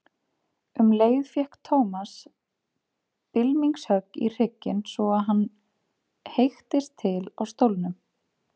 Um leið fékk Thomas bylmingshögg í hrygginn svo að hann heyktist til á stólnum.